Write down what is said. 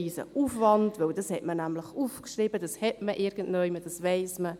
Ich empfinde es auch nicht als riesigen Aufwand, weil man diese Information nämlich hat.